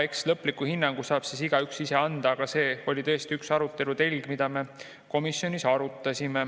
Eks lõpliku hinnangu saab igaüks ise anda, aga see oli tõesti üks arutelu telgi meil komisjonis.